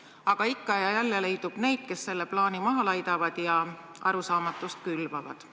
Aga ikka ja jälle leidub neid, kes selle plaani maha laidavad ja arusaamatust külvavad.